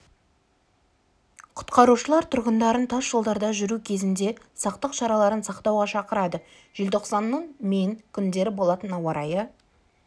құтқарушылар тұрғындарын тас жолдарда жүру кезінде сақтық шараларын сақтауға шақырады желтоқсанның мен күндері болатын ауа райы